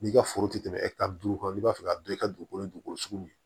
N'i ka foro ti tɛmɛ duuru kan n'i b'a fɛ ka don i ka dugukolo dugukolo sugu min ye